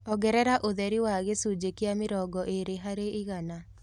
Ongerera ũtherĩ wa gĩcũnjĩ kĩa mĩrongo ĩrĩ harĩ igana